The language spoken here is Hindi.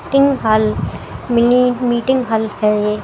Meeting hall mini meeting hall है ये।